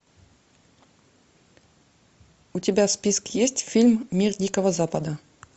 у тебя в списке есть фильм мир дикого запада